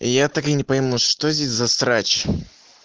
я так и не пойму что здесь за срач